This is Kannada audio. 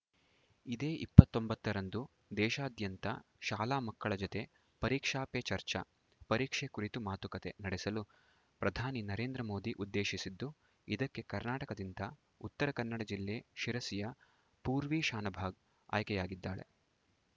ಇದೇ ಇಪ್ಪತೊಂಬತ್ತರಂದು ದೇಶಾದ್ಯಂತ ಶಾಲಾ ಮಕ್ಕಳ ಜತೆ ಪರೀಕ್ಷಾ ಪೇ ಚರ್ಚಾ ಪರೀಕ್ಷೆ ಕುರಿತು ಮಾತುಕತೆ ನಡೆಸಲು ಪ್ರಧಾನಿ ನರೇಂದ್ರ ಮೋದಿ ಉದ್ದೇಶಿಸಿದ್ದು ಇದಕ್ಕೆ ಕರ್ನಾಟಕದಿಂದ ಉತ್ತರ ಕನ್ನಡ ಜಿಲ್ಲೆ ಶಿರಸಿಯ ಪೂರ್ವಿ ಶಾನಭಾಗ್‌ ಆಯ್ಕೆಯಾಗಿದ್ದಾಳೆ